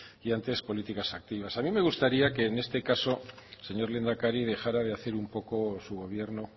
y antes políticas activas a mí me gustaría que en este caso señor lehendakari dejara de hacer un poco su gobierno